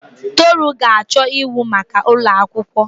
Toru ga-achọ ịwụ maka ụlọ akwụkwọ.